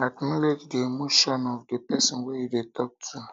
acknowlege di di emotion of di person wey you dey talk to